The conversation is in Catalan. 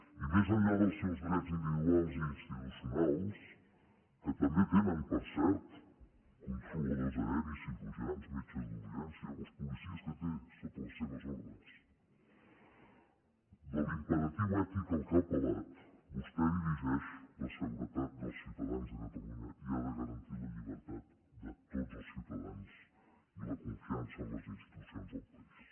i més enllà dels seus drets individuals i insti·tucionals que també tenen per cert controladors aeris cirurgians metges d’urgència o els policies que té sota les seves ordres de l’imperatiu ètic a què ha apel·lat vostè dirigeix la seguretat dels ciutadans de catalunya i ha de garantir la llibertat de tots els ciutadans i la con·fiança en les institucions del país